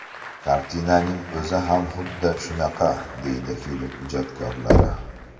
Kartinaning o‘zi ham xuddi shunaqa”, deydi film ijodkorlari.